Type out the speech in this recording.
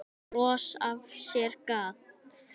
Bros sem af sér gaf.